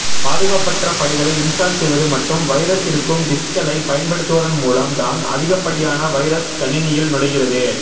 பாதுகாப்பற்ற ஃபைல்களை இன்ஸ்டால் செய்வது மற்றும் வைரஸ் இருக்கும் டிஸ்க்களை பயன்படுத்துவதன் மூலம் தான் அதிகப்படியான வைரஸ் கணினியில் நுழைகிறது